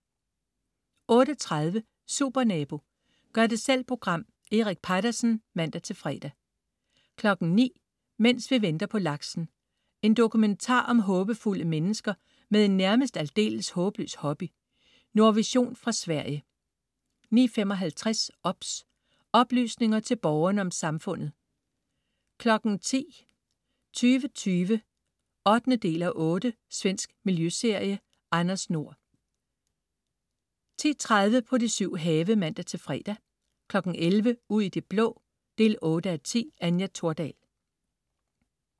08.30 Supernabo. Gør-det-selv program. Erik Peitersen (man-fre) 09.00 Mens vi venter på laksen. En dokumentar om håbefulde mennesker med en nærmest aldeles håbløs hobby. Nordvision fra Sverige 09.55 OBS. Oplysninger til Borgerne om Samfundet 10.00 2020 8:8. Svensk miljøserie. Anders Nord 10.30 På de syv have (man-fre) 11.00 Ud i det blå 8:10. Anja Thordal